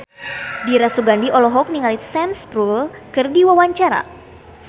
Dira Sugandi olohok ningali Sam Spruell keur diwawancara